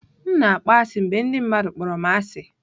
M na-akpọ asị mgbe ndị mmadụ kpọrọ m asị.